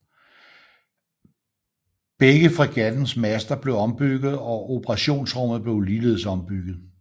Begge fregattens master blev ombygget og operationsrummet blev ligeledes ombygget